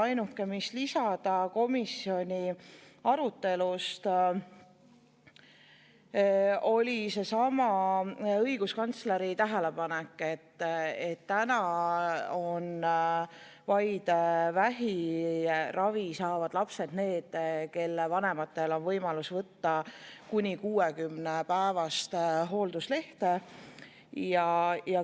Ainuke, mida võiks lisada komisjoni arutelust, oli seesama õiguskantsleri tähelepanek, et täna on vaid vähiravi saavad lapsed need, kelle vanematel on võimalus võtta kuni 60‑päevast hoolduslehte.